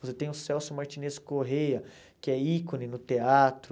Você tem o Celso Martinez Corrêa, que é ícone no teatro.